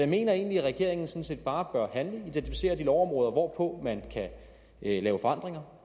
mener egentlig at regeringen sådan set bare bør handle identificere de lovområder hvor man kan lave forandringer